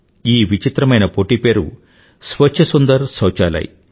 ఈ విచిత్రమైన పోటీ పేరు స్వచ్ఛ సుందర్ సౌచాలయ్